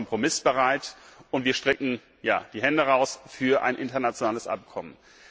Wir sind dort kompromissbereit und wir strecken die Hände aus für ein internationales Abkommen.